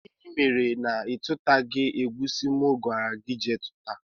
Gịnị mere na itutaghi egusi mụ gwara gị jee túta?